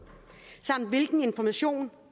samt hvilken information